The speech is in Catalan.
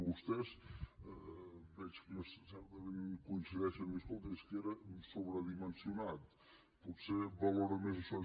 vostès veig que certament coincideixen a dir escolti és que era sobredimensionat potser valoren més això